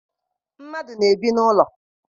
Mmadụ na-ebi n'ụlọ.